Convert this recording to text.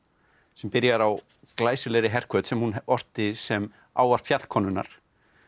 sem byrjar á glæsilegri herhvöt sem hún orti sem ávarp fjallkonunnar